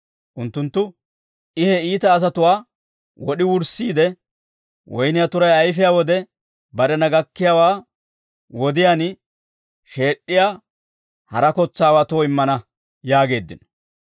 Unttunttu, «I he iita asatuwaa wod'i wurssiide, woyniyaa turay ayfiyaa wode barena gakkiyaawaa wodiyaan sheed'd'iyaa hara kotsaawatoo immana» yaageeddino.